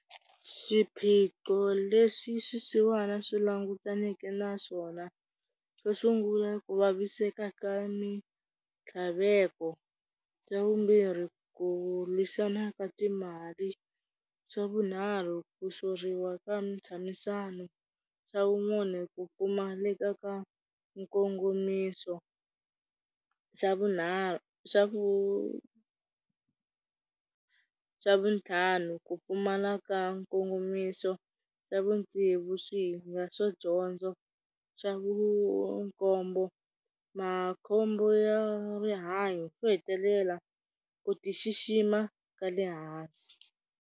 Swiphiqo leswi swisiwana swi langutaneke na swona, xo sungula ku vaviseka ka mitlhaveko, xa vumbirhi ku lwisana ka timali, xa vunharhu ku soriwa ka ntshamisano, xa vumune ku pfumaleka ka nkongomiso, xa vunharhu xa vu, vutlhanu ku pfumala ka nkongomiso, xa vutsevu swihinga swa dyondzo, xa vu khombo makhombo ya rihanyo swo hetelela ku tixixima ka le hansi.